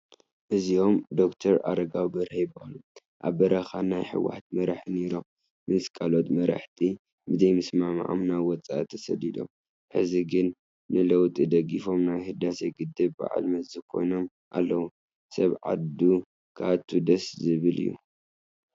እዚኦም ዶክተር ኣረጋዊ በርሀ ይበሃሉ፡፡ ኣብ በረኻ ናይ ሕወሓት መራሒ ነይሮም፡፡ ምስ ካልኦት መራሕቲ ብዘይምስምዕምዖም ናብ ወፃኢ ተሰዲዶም፡፡ ሕዚ ግን ንለውጢ ደጊፎም ናይ ህዳሴ ግድብ በዓል መዚ ኮይኖም ኣለዉ፡፡ ሰብ ዓዱ ክኣቱ ደስ ዝብል እዩ፡፡